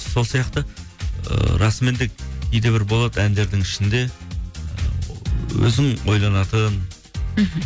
сол сияқты ыыы расымен де кейде бір болады әндердің ішінде өзің ойланатын мхм